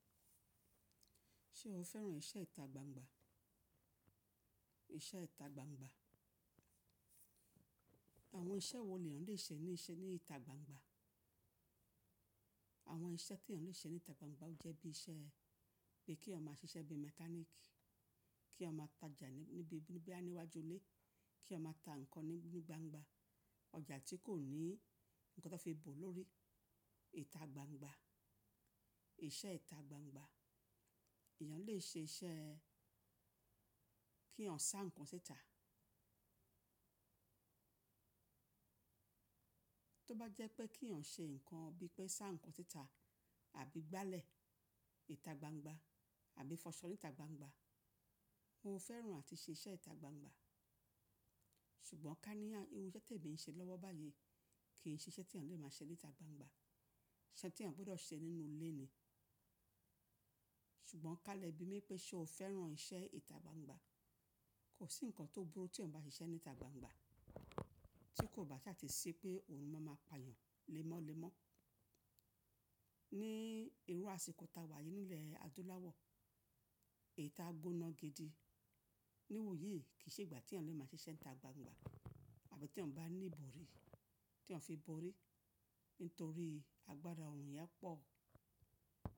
Ṣé o fẹ́ràn iṣẹ́ ìta gbangba? Ìṣẹ́ ìta gbangba. Àwọn iṣẹ́ wo lèyan léṣe níṣe ní ìta gbangba? Àwọn iṣẹ́ tí èèyàn lè ṣe ní ìta gbangba o jẹ́ bí iṣẹ́ pé kí eeyan ma á ṣiṣẹ́ bí mechanic, kí a má tajà níbi bí níbí a ní iwájú ilé, kí a maá ta nǹkan ní gbangba, ọjà tí kò ní nǹkan tó fi bò lórí. Ìta gbangba. Ìṣẹ́ ìta gbangba. Èèyàn lè ṣe iṣẹ́ kí eeyan sá nǹkan síta. Tóbá jẹ́ pé kí ọ́n ṣe nǹkan bí i pé sá nǹkan síta àbí gbálẹ̀ ìta gbangba àbí fọṣọ ní ìta gbangba. Mo fẹ́ràn àti ṣe iṣẹ́ ìta gbangba. Ṣùgbọ́n ká ní irú iṣẹ́ tí èmi ń ṣe lọ́wọ́ báyìí kì í ṣe iṣẹ́ tí èèyàn lè máa ṣe ní ìta gbangba. Iṣẹ́ tí èèyàn gbọ́dọ̀ ṣe nínú ilé ni. Ṣùgbọ́n ká lebi mi pé ṣé o fẹ́ràn iṣẹ́ ìta gbangba? Kò sí nǹkan tó burú tí èèyàn bá ṣiṣẹ́ ní ìta gbangba tí kò bá ṣàti si pé òòrùn máa ma payan lemọ́lemọ́. Ní irú àsìkò tá a wà yìí nílẹ̀ adúláwọ̀, ìta gbóná gidi. Níwòyí kì í ṣe ìgbà tí èèyàn lè máa ṣe iṣẹ́ ìta gbangba àbí tí èèyàn bá ní ibòri tí èèyàn fi bòri nítorí agbára òòrùn yẹn pọ̀.